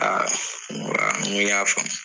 Aa n ko aa n ko y'a faamu.